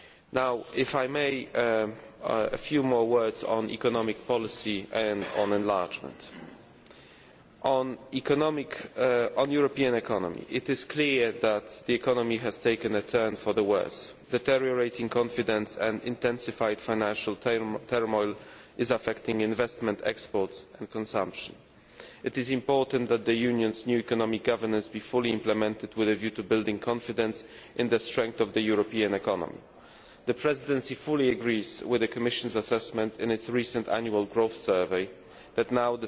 framework. Now, if I may, I shall say a few more words on economic policy and on enlargement. On the European economy, it is clear that the economy has taken a turn for the worse. Deteriorating confidence and intensified financial turmoil are affecting investment, exports and consumption. It is important that the Union's new economic governance be fully implemented with a view to building confidence in the strength of the European economy. The Presidency fully agrees with the Commission's assessment in its recent Annual Growth